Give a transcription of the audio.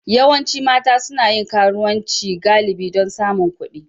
Yawancin mata suna yin karuwanci galibi don samun kuɗi